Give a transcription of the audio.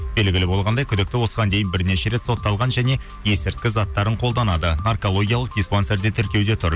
белгілі болғандай күдікті осыған дейін бірнеше рет сотталған және есірткі заттарын қолданады наркологиялық диспансерде тіркеуде тұр